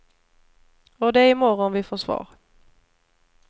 Och det är i morgon vi får svar.